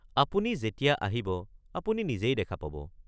আপুনি যেতিয়া আহিব, আপুনি নিজেই দেখা পাব।